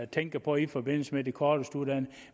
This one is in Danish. tænker på i forbindelse med de kortest uddannede